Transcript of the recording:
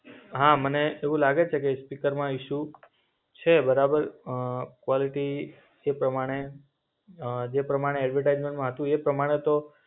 હા મને એવું લાગે છે કે સ્પીકરમાં ઈશુ છે બરાબર. અ ક્વાલિટી એ પ્રમાણે અ જે પ્રમાણે એડ્વર્ટાઇઝમેન્ટમાં હતું એ પ્રમાણે તો